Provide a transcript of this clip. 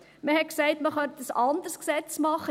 Man sagte, man könnte ein anderes Gesetz machen;